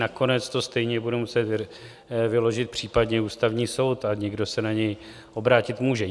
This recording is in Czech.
Nakonec to stejně bude muset vyložit případně Ústavní soud a někdo se na něj obrátit může.